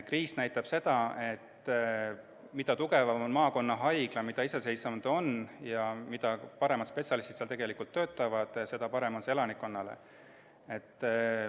Kriis näitab seda, et mida tugevam on maakonnahaigla, mida iseseisvam ta on ja mida paremad spetsialistid seal töötavad, seda parem elanikkonnale.